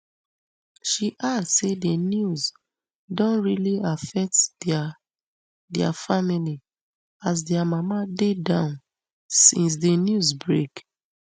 she add say di news don really affect dia dia family as dia mama dey down since di news break